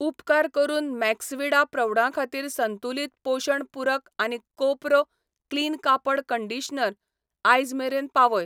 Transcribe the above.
उपकार करून मैक्सविडा प्रौढां खातीर संतुलित पोशण पूरक आनी कोपरो क्लीन कापड कंडीशनर आयज मेरेन पावय.